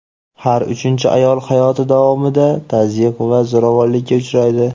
har uchinchi ayol hayoti davomida tazyiq va zo‘ravonlikka uchraydi.